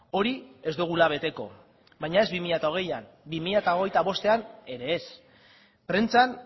hori ez dugula beteko baina ez bi mila hogeian bi mila hogeita bostean ere ez prentsan